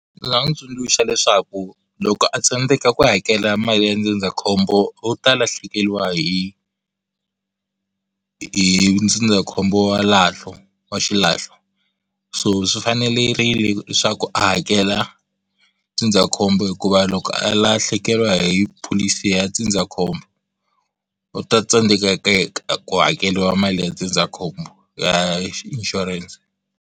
Ni nga n'wi tsundzuxa leswaku loko a tsandzeka ku hakela mali ya ndzindzakhombo wu ta lahlekeriwa hi hi ndzindzakhombo wa lahlo wa xilahlo so swi fanerile leswaku a hakela ndzindzakhombo hikuva loko a lahlekeriwa hi pholisi ya ndzindzakhombo u ta tsandzeka ku hakeriwa mali ya ndzindzakhombo ya inshuranse.